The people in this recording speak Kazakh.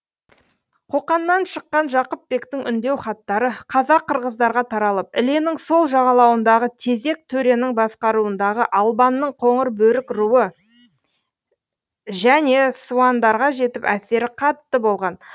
қоқаннан шыққан жақыпбектің үндеу хаттары қазақ қырғыздарға таралып іленің сол жағалауындағы тезек төренің басқаруындағы албанның қоңырбөрік руы және суандарға жетіп әсері қатты болған